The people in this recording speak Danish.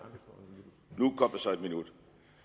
nu kom der så en minut